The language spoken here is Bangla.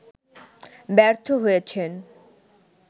ব্যর্থ হয়েছেন